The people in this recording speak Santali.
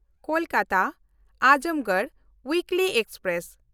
ᱠᱳᱞᱠᱟᱛᱟ–ᱟᱡᱚᱢᱜᱚᱲ ᱩᱭᱤᱠᱞᱤ ᱮᱠᱥᱯᱨᱮᱥ